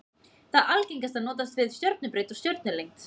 Það algengasta notast við stjörnubreidd og stjörnulengd.